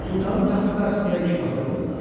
Sultanın taxtı qarşısında iki masa qoydular.